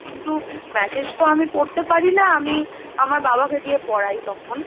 কিন্তু message তো আমি পড়তে পারি না, আমি আমার বাবাকে দিয়ে পড়াই তখন,